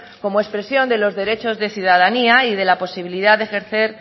como expresión de los derechos de ciudadanía y de la posibilidad de ejercer